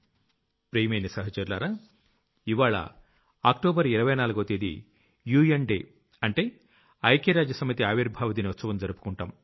ప్రియమైన సహచరులారా ఇవ్వాళ్ల అక్టోబర్ 24వ తేదీ యుఎన్ డే అంటే ఐక్యరాజ్య సమితి ఆవిర్భావ దినోత్సవం జరుపుకుంటాం